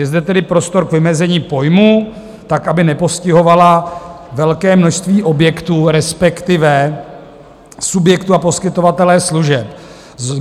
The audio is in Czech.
Je zde tedy prostor k vymezení pojmů tak, aby nepostihovala velké množství objektů, respektive subjektů, a poskytovatele služeb.